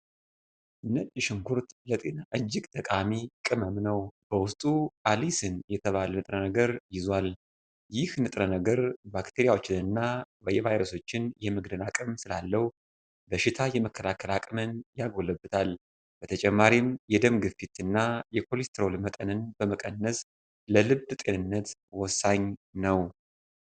ነጭ ሽንኩርት ለጤና እጅግ ጠቃሚ ቅመም ነው። በውስጡ አሊሲን የተባለ ንጥረ ነገር ይዟል። ይህ ንጥረ-ነገር ባክቴሪያዎችንና ቫይረሶችን የመግደል አቅም ስላለው በሽታ የመከላከል አቅምን ያጎለብታል። በተጨማሪም የደም ግፊትን እና የኮሌስትሮል መጠንን በመቀነስ ለልብ ጤንነት ወሳኝ ነው።